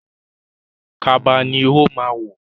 Kaba ni ó ma wọ̀